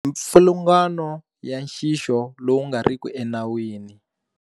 Mipfilungano ya nxixo lowu nga riki enawini.